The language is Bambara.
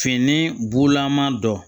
Fini bulama dɔ